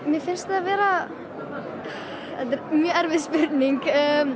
mér finnst það vera þetta er mjög erfið spurning